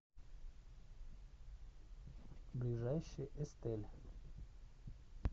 ближайший эстель